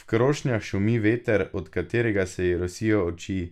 V krošnjah šumi veter, od katerega se ji rosijo oči.